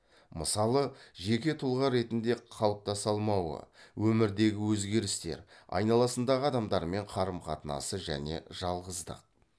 мысалы жеке тұлға ретінде қалыптаса алмауы өмірдегі өзгерістер айналасындағы адамдармен қарым қатынасы және жалғыздық